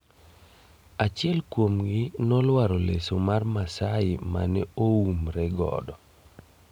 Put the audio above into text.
Achiel kuomgi noluaro leso mar maasai mane oumre godo.